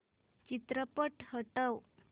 चित्रपट हटव